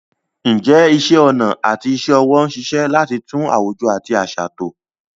Ǹjẹ́ iṣẹ́ ọnà àti iṣẹ́ ọwọ́ ń ṣiṣẹ́ láti tún àwùjọ àti àṣà tò?